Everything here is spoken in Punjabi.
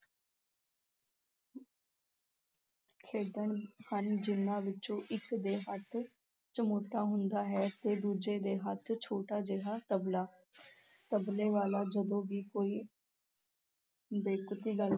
ਖੇਡਣ ਹਨ, ਜਿਹਨਾਂ ਵਿੱਚੋਂ ਇੱਕ ਦੇ ਹੱਥ ਚਮੋਟਾ ਹੁੰਦਾ ਹੈ ਤੇ ਦੂਜੇ ਦੇ ਹੱਥ ਛੋਟਾ ਜਿਹਾ ਤਬਲਾ, ਤਬਲੇ ਵਾਲਾ ਜਦੋਂ ਵੀ ਕੋਈ ਬੇਤੁਕੀ ਗੱਲ